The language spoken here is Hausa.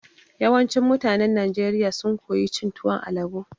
Yawancin mutanen Najeriya sun koyi cin tuwon alabo.